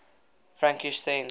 frankish saints